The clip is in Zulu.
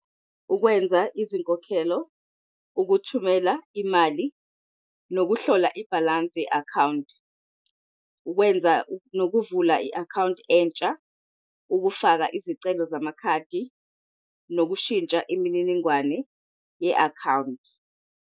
Ukwenza izinkokhelo, ukuthumela imali, nokuhlola ibhalansi ye-akhawunti. Ukwenza nokuvula i-akhawunti entsha, Ukufaka izicelo wamakhadi, nokushintsha imininingwane ye-akhawunti.